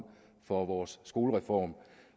for vores skolereform